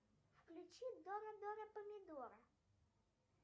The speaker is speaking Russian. включи дона дона помидора